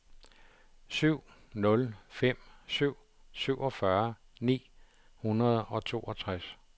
syv nul fem syv syvogfyrre ni hundrede og toogtres